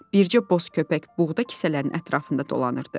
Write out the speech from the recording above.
Bircə boz köpək buğda kisələrin ətrafında dolanırdı.